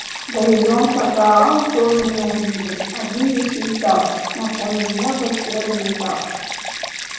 горизонта гаал тоже не увидел один лишь металл на фоне неба серый металл